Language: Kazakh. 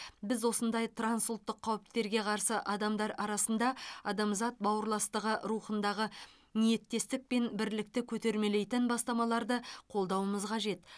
біз осындай трансұлттық қауіптерге қарсы адамдар арасында адамзат бауырластығы рухындағы ниеттестік пен бірлікті көтермелейтін бастамаларды қолдауымыз қажет